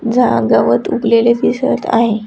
झा गवत उगलेले दिसत आहे.